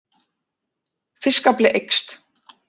Fiskafli eykst